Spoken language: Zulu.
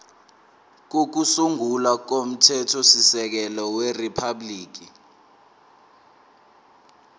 kokusungula komthethosisekelo weriphabhuliki